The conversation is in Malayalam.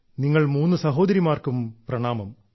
നിങ്ങൾ മൂന്നു സഹോദരിമാർക്കും പ്രണാമം